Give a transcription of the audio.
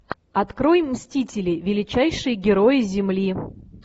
открой мстители величайшие герои земли